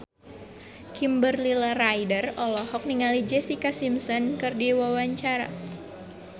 Kimberly Ryder olohok ningali Jessica Simpson keur diwawancara